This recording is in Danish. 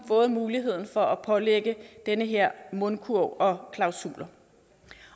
fået muligheden for at pålægge den her mundkurv og klausuler